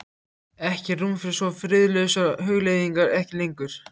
Ekkert rúm fyrir svo friðlausar hugleiðingar: ekki lengur.